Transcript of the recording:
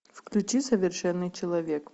включи совершенный человек